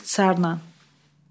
İxtisarımdır.